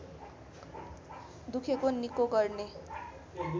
दुखेको निको गर्ने